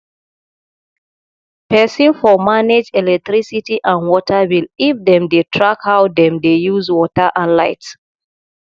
person for manage electricity and water bill if dem dey track how dem dey use water and light